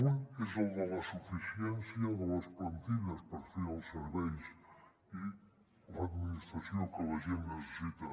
un és el de la suficiència de les plantilles per fer els serveis i l’administració que la gent necessita